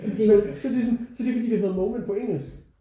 Men så det er sådan så er det fordi det hedder moment på engelsk